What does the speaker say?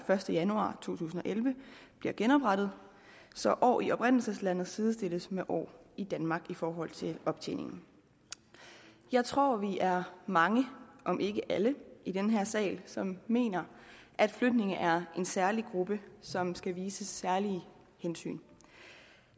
første januar to tusind og elleve bliver genoprettet så år i oprindelseslandet sidestilles med år i danmark i forhold til optjening jeg tror vi er mange om ikke alle i den her sal som mener at flygtninge er en særlig gruppe som skal vises særlige hensyn